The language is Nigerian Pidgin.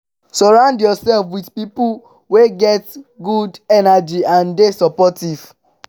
surround yourself with pipo wey get good energy and de supportive